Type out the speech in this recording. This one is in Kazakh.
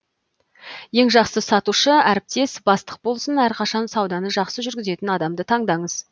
ең жақсы сатушы әріптес бастық болсын әрқашан сауданы жақсы жүргізетін адамды таңдаңыз